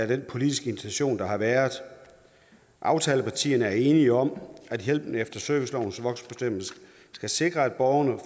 den politiske intention der har været aftalepartierne er enige om at hjælpen efter servicelovens voksenbestemmelse skal sikre at borgerne